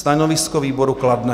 Stanovisko výboru: kladné.